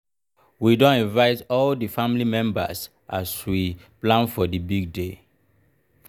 we don invite all di family members as we plan for di big day.